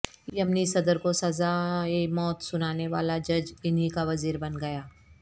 یمنی صدر کو سزائے موت سنانے والا جج انہی کا وزیر بن گیا